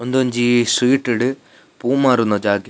ಉಂದೊಂಜಿ ಸ್ಟ್ರೀಟ್ ಡು ಪೂ ಮಾರುನ ಜಾಗೆ.